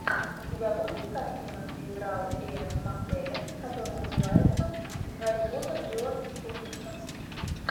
у тебя будет картина где играл иэн маккеллен которая называется гарри поттер и орден феникса